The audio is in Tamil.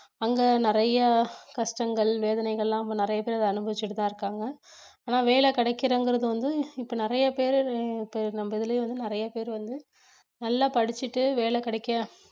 அங்க நிறைய கஷ்டங்கள் வேதனைகள் எல்லாம் அங்க நிறைய பேர் அத அனுபவிச்சிட்டு தான் இருக்காங்க ஆனா வேலை கிடைக்கலங்குறது வந்து இப்ப நிறைய பேரு அஹ் இப்ப நம்ம இதுலயே வந்து நிறைய பேர் வந்து நல்லா படிச்சுட்டு வேலை கிடைக்க